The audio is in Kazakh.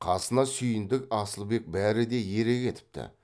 қасына сүйіндік асылбек бәрі де ере кетіпті